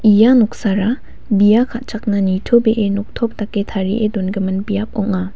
ia noksara bia ka·chakna nitobee noktop dake tarie dongimin biap ong·a.